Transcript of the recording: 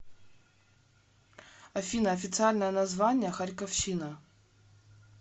афина официальное название харьковщина